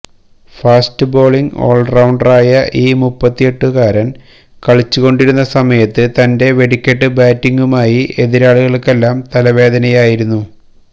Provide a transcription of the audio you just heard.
fast bowling all റൌണ്ടറായ ഈ മുപ്പത്തിയെട്ടുകാരൻ കളിച്ചു കൊണ്ടിരുന്ന സമയത്ത് തന്റെ വെടിക്കെട്ട് ബാറ്റിംഗുമായി എതിരാളികൾക്കെല്ലാം തല വേദനയായിരുന്നു